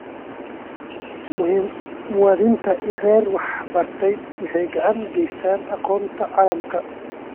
Muwaadiniinta rer ee wax bartay waxay gacan ka geystaan ??aqoonta caalamka.